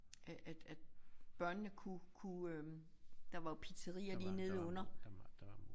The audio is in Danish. Øh at at børnene kunne kunne øh der var pizzeria lige nedenunder